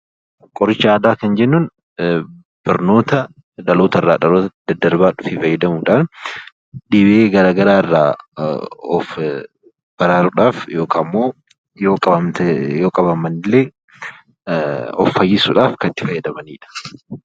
Qoricha aadaa kan jennuun barnoota dhalootarraa dhalootatti daddarbaa dhufe fayyadamuudhaan dhibee garaagaraa irraa of baraaruudhaaf yookaan immoo yoo qabaman illee of fayyisuudhaaf kan itti fayyadamanidha.